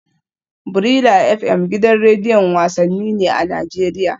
Brila FM gidan rediyon wasanni ne a Najeriya